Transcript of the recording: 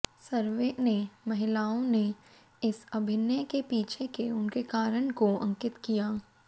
सर्वे ने महिलाओं ने इस अभिनय के पीछे के उनके कारण को अंकित किया